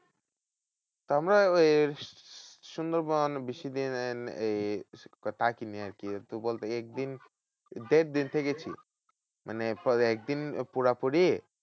তো আমরা ওই সুন্দরবন বেশি দিনের এই থাকিনি আরকি। একটু বলতে একদিন দেড় দিন থেকেছি মানে একদিন পুরাপুরি।